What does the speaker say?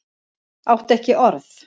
Átti ekki orð.